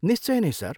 निश्चय नै, सर।